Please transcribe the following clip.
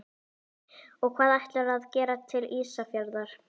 Og hvað ætlarðu að gera til Ísafjarðar?